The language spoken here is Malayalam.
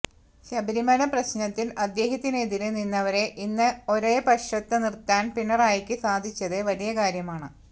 ശബരിമല പ്രശ്നത്തിൽ അദ്ദേഹത്തിനെതിരെ നിന്നവരെ ഇന്ന് ഒരേ പക്ഷത്ത് നിർത്താൻ പിണറായിക്ക് സാധിച്ചത് വലിയ കാര്യമാണ്